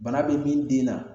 Bana be min den na